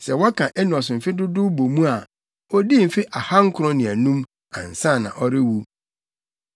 Sɛ wɔka Enos mfe dodow bɔ mu a, odii mfe ahankron ne anum, ansa na ɔrewu.